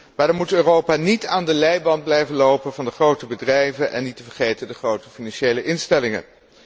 Maar dan moet Europa niet aan de leiband blijven lopen van de grote bedrijven en niet te vergeten van de grote financiële instellingen.